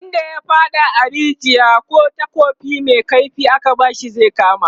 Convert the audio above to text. wanda ya faɗa a rijiya, kih takobi Mai kaifi aka bashi zai kama